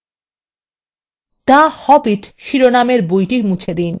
2 the hobbit শিরোনামের বইটি মুছে দিন